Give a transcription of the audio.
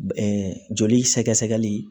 joli sɛgɛ sɛgɛli